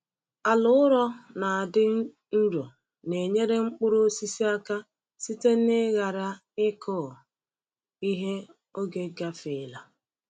Ala ụrọ na-adị nro na-enyere mkpụrụ osisi aka site n’ịghara ịkụ ihe oge gafeela.